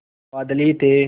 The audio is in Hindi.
बादल ही थे